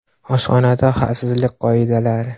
Oshxonada xavfsizlik qoidalari.